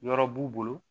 Yɔrɔ b'u bolo